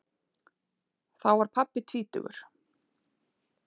Þá var pabbi tvítugur.